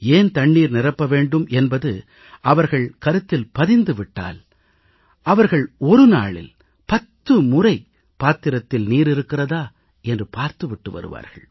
ஏன் தண்ணீர் நிரப்ப வேண்டும் என்பது அவர்கள் கருத்தில் பதிந்து விட்டால் அவர்கள் ஒரு நாளில் பத்து முறை பாத்திரத்தில் நீர் இருக்கிறதா என்று பார்த்து விட்டு வருவார்கள்